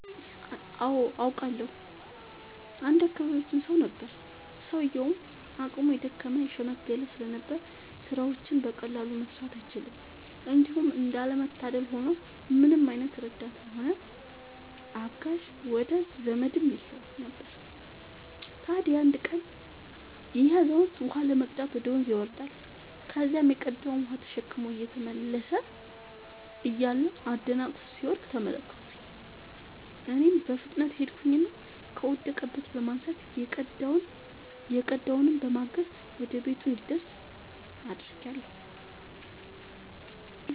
አዎ አውቃለሁ። አንድ የአካባቢያችን ሰው ነበረ፤ ሰውዬውም አቅሙ የደከመ የሽምገለ ስለነበር ስራዎችን በቀላሉ መስራት አይችልም። እንዲሁም እንዳለ መታደል ሆኖ ምንም አይነት ረዳትም ሆነ አጋዥ ወዳጅ ዘመድም የለውም ነበር። ታዲያ አንድ ቀን ይሄ አዛውንት ውሃ ለመቅዳት ወደ ወንዝ ይወርዳል። ከዚያም የቀዳውን ውሃ ተሸክሞ እየተመለሰ እያለ አደናቅፎት ሲወድቅ ተመለከትኩኝ እኔም በፍጥነት ሄድኩኝና ከወደቀበት በማንሳት የቀዳውንም በማገዝ ወደ ቤቱ እንዲደርስ አድርጌአለሁ።